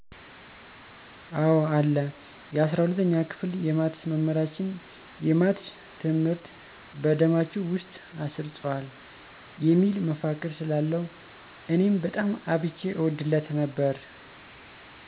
አወ አለ። የ፩፪ኛ ክፍል የማትስ መምህራችን "የማትስ ትምህርት በደማችሁ ውስጥ አሰርጽዋለሁ" የሚል መፈክር ስላለው እኔም በጣም አብዝቼ እወድለት ነበር።